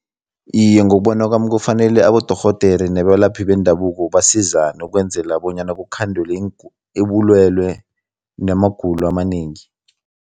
Iye, ngokubona kwami kufanele abodorhodere nabalaphi bendabuko basizane ukwenzela bonyana kukhandelwe ubulwelwe namagulo amanengi.